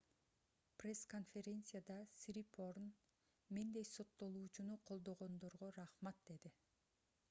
пресс-конференцияда сирипорн мендей соттолуучуну колдогондорго рахмат - деди